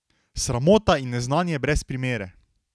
Sramota in neznanje brez primere!